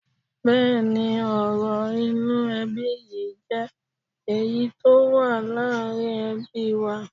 Bẹ́ẹ̀ni, ọrọ̀ inú ẹbí yìí jé èyí tó wà láàrin ẹbí wa.